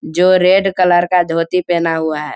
जो red colour का धोती पहना हुआ है।